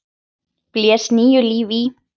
blés nýju lífi í.